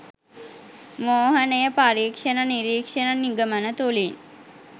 මෝහනය පරීක්ෂණ නිරීක්ෂණ නිගමන තුළින්